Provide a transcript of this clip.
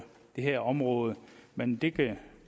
det her område men det det